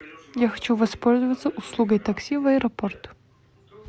я хочу воспользоваться услугой такси в аэропорт